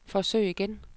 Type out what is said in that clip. forsøg igen